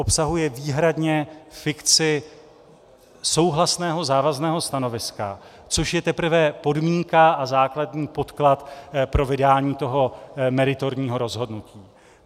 Obsahuje výhradně fikci souhlasného závazného stanoviska, což je teprve podmínka a základní podklad pro vydání toho meritorního rozhodnutí.